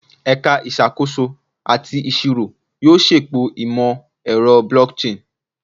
Ẹka Isakoso ati Iṣiro yoo ṣepọ imọ-ẹrọ blockchain